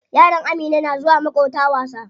Yaran Amina na zuwa maƙota wasa.